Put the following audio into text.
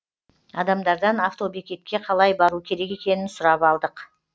адамдардан автобекетке қалай бару керек екенін сұрап алдық